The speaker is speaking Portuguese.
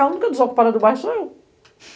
A única desocupada do bairro sou eu.